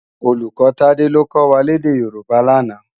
Ólúkò Tade ló kò wá lèdè Yoruba làná